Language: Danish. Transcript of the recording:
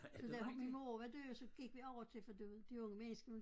Så da hun min mor var død så gik vi over til for du ved de unge mennesker nu